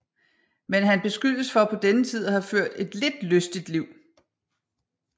Men han beskyldes for på denne tid at have ført et lidt lystigt liv